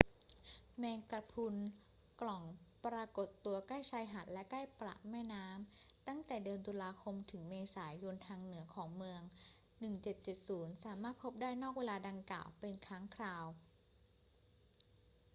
แมงกะพรุนกล่องปรากฏตัวใกล้ชายหาดและใกล้ปากแม่น้ำตั้งแต่เดือนตุลาคมถึงเมษายนทางเหนือของเมือง 1770 สามารถพบได้นอกเวลาดังกล่าวเป็นครั้งคราว